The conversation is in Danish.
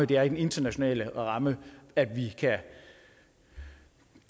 det er i den internationale ramme at vi kan